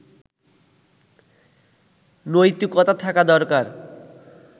নৈতিকতা থাকা দরকার”